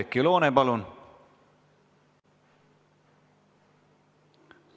Oudekki Loone, palun!